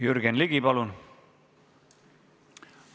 Jürgen Ligi, palun!